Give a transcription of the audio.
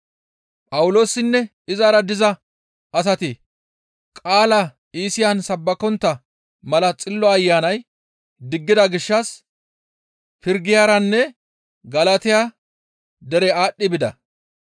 Phawuloosinne izara diza zatati qaalaa Iisiyan sabbakontta mala Xillo Ayanay diggida gishshas Pirgiyaranne Galatiya derera aadhdhi bida.